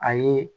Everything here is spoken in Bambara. A ye